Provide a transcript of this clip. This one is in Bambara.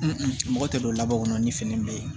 mɔgɔ tɛ don labɔ ni fini bɛɛ ye